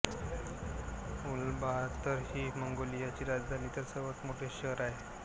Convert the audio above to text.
Ulaanbaatar ही मंगोलियाची राजधानी व सर्वात मोठे शहर आहे